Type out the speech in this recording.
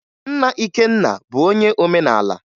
Nna Ikenna bụ onye omenala